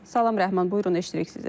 Salam Rəhman, buyurun, eşidirik sizi.